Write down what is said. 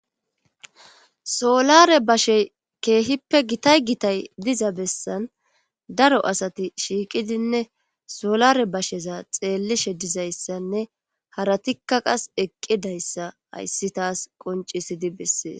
Solare bashe keehippe gitay gitay diza bessan daro asati shiiqidinne solare basheza xeellishe dizayssanne haratikka qas eqqidayssa hayssi taas qoncisidi bessees.